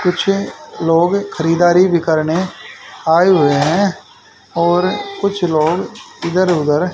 कुछ लोग खरीदारी भी करने आए हुए हैं और कुछ लोग इधर उधर--